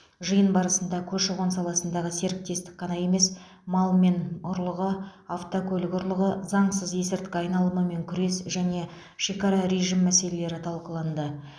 жиын барысында көші қон саласындағы серіктестік қана емес мал мен ұрлығы автокөлік ұрлығы заңсыз есірткі айналымымен күрес және шекара режімі мәселелері талқыланды